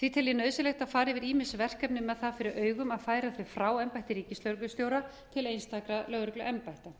því tel ég nauðsynlegt að fara yfir ýmis verkefni með það fyrir augum að færa þau frá embætti ríkislögreglustjóra til einstakra lögregluembætta